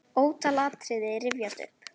Ótal atriði rifjast upp.